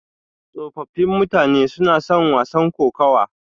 Tsofaffin mutane suna son wasan kokawa.